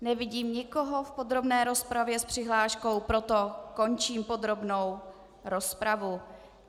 Nevidím nikoho v podrobné rozpravě s přihláškou, proto končím podrobnou rozpravu.